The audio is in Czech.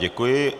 Děkuji.